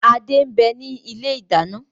Adé ń bẹni ilé ìdáná